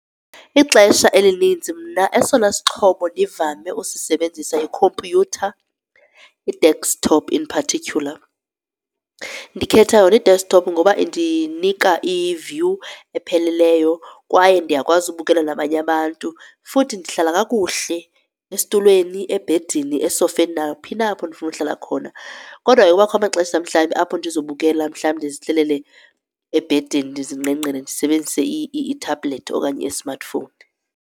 Ixesha elininzi mna esona sixhobo ndivame usisebenzisa yikhompyutha i-desktop in particular. Ndikhetha yona i-desktop ngoba indinika i-view epheleleyo kwaye ndiyakwazi ubukela nabanye abantu futhi ndihlala kakuhle esitulweni, ebhedini, esofeni, naphi na apho ndifuna ukuhlala khona. Kodwa ke kubakho amaxesha mhlawumbi apho ndizobukela mhlawumbi ndizihlelele ebhedini ndizingqengqele ndisebenzise itablet okanye ismartphone.